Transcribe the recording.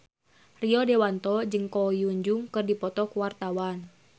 Rio Dewanto jeung Ko Hyun Jung keur dipoto ku wartawan